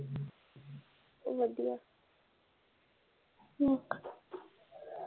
ਵਧੀਆ